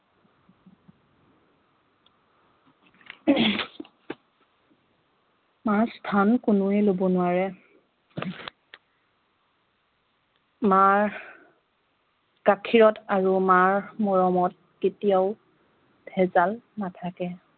মাৰ স্থান কোনেৱে লব লোৱাৰে মাৰ গাখীৰত আৰু মাৰ মৰমত কেতিয়াওঁ ভেজাল নাথাকে